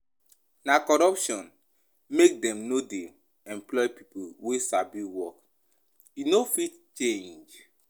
Na corruption make dem no dey employ pipo wey sabi work, e no fit change.